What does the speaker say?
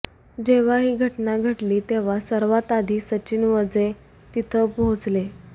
जेव्हा ही घटना घडली तेव्हा सर्वांत आधी सचिन वझे तिथं पोहोचले